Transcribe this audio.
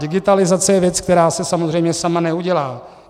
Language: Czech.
Digitalizace je věc, která se samozřejmě sama neudělá.